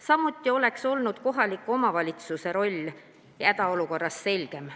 Samuti oleks olnud kohaliku omavalitsuse roll hädaolukorras selgem.